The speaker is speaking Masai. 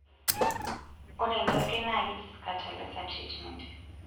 Ore ena oitoi naa keji scatter laser treatment.